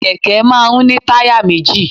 Kẹ̀kẹ́ máa ń ní táyà méjì.